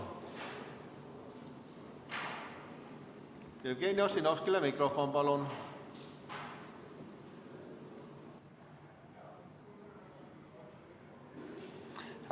Jevgeni Ossinovskile mikrofon, palun!